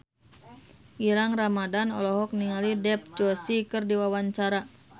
Gilang Ramadan olohok ningali Dev Joshi keur diwawancara